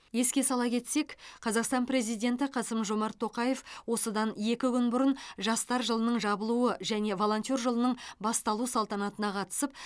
еске сала кетсек қазақстан президенті қасым жомарт тоқаев осыдан екі күн бұрын жастар жылының жабылуы және волонтер жылының басталу салтанатына қатысып